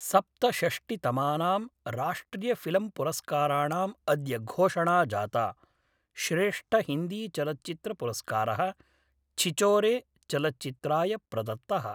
सप्तषष्टितमानाम् राष्ट्रियफिल्म्पुरस्काराणाम् अद्य घोषणा जाता श्रेष्ठहिन्दीचलचित्रपुरस्कार: छिछोरे चलचित्राय प्रदत्त:।